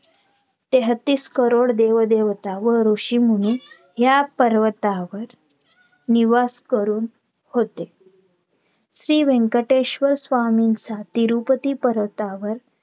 तेहतीस करोड देव देवता व ऋषीमुनी या पर्वतावर निवास करून होते श्री व्यंकटेश स्वामींचा तिरुपती पर्वतावर